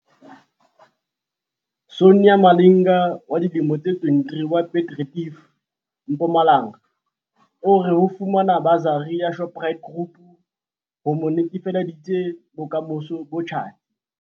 Sonia Malinga, 23, wa Piet Retief, Mpumalanga o re ho fumana basari ya Shoprite Group ho mo netefaleditse bokamoso bo tjhatsi.